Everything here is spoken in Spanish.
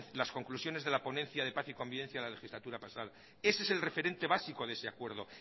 las conclusiones de la ponencia de paz y convivencia de la legislatura pasada ese es el referente básico de ese acuerdo